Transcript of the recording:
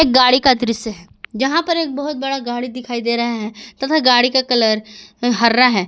गाड़ी का दृश्य है जहां पर एक बहुत बड़ा गाड़ी दिखाई दे रहा है तथा गाड़ी का कलर हरा है।